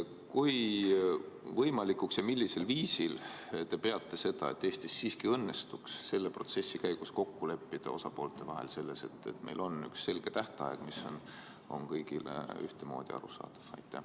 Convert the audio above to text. Kui võimalikuks te peate seda, et Eestis siiski õnnestub selle protsessi käigus osapooltel kokku leppida selles, et meil on üks selge tähtaeg, mis on kõigile ühtemoodi arusaadav?